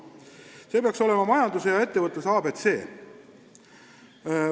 See peaks olema ettevõtluse ja kogu majanduse ABC.